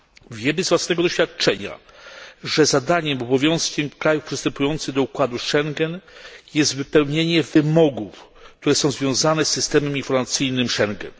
Wiemy z własnego doświadczenia, że zadaniem i obowiązkiem krajów przystępujących do układu Schengen jest wypełnienie wymogów, które są związane z systemem informacyjnym Schengen.